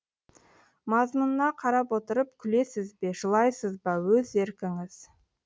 мазмұнына қарап отырып күлесіз бе жылайсыз ба өз еркіңіз